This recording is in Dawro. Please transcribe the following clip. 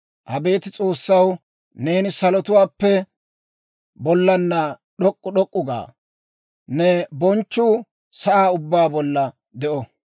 Abeet S'oossaw, neeni salotuwaappe bollaanna d'ok'k'u d'ok'k'u ga; ne bonchchuu sa'aa ubbaa bolla de'o.